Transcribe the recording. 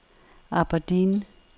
Aberdeen